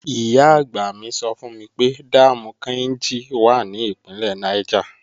Ìyá-àgbà mi sọ fún mi pé dáàmù Káínjí wà ní Ìpínlẹ̀ Niger